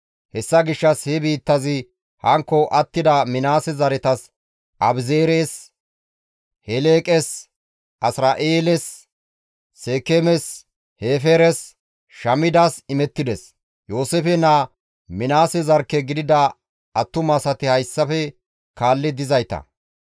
Hessa gishshas he biittazi hankko attida Minaase zaretas Abi7eezeres, Heleeqes, Asira7eeles, Seekeemes, Hefeeres, Shamidas imettides; Yooseefe naa Minaase zarkke gidida attumati hayssafe kaalli dizayta.